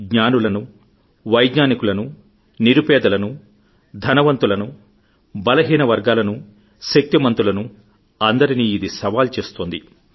జ్ఞానులను వైజ్ఞానికులను నిరుపేదలను ధనవంతులను బలహీన వర్గాలను శక్తి మంతులను అందరినీ ఇది సవాల్ చేస్తోంది